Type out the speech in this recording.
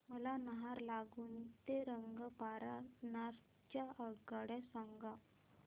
मला नाहरलागुन ते रंगपारा नॉर्थ च्या आगगाड्या सांगा